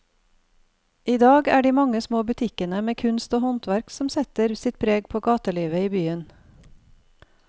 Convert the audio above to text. I dag er det de mange små butikkene med kunst og håndverk som setter sitt preg på gatelivet i byen.